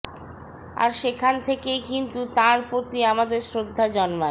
আর সেখান থেকেই কিন্তু তাঁর প্রতি আমাদের শ্রদ্ধা জন্মায়